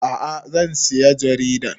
A'a zan saya jaridar